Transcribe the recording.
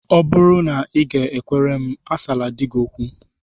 Ọ bụrụ na ị g-ekwere m, asala di gị okwu!